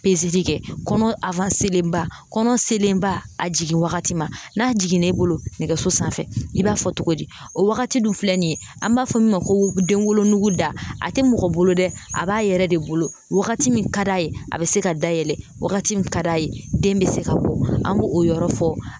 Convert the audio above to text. kɛ kɔnɔ ba kɔnɔ selenba a jiginwagati ma n'a jiginna i bolo nɛgɛso sanfɛ i b'a fɔ togo di o wagati dun filɛ nin ye an b'a fɔ min ma ko denwolonugu da a tɛ mɔgɔ bolo dɛ a b'a yɛrɛ de bolo wagati min ka d'a ye a bɛ se ka dayɛlɛ wagati min ka d'a ye den bɛ se ka bɔ an b'o o yɔrɔ fɔ